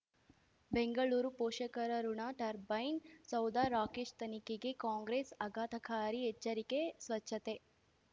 ಬೆಂಗಳೂರು ಪೋಷಕರಋಣ ಟರ್ಬೈನ್ ಸೌಧ ರಾಕೇಶ್ ತನಿಖೆಗೆ ಕಾಂಗ್ರೆಸ್ ಆಘಾತಕಾರಿ ಎಚ್ಚರಿಕೆ ಸ್ವಚ್ಛತೆ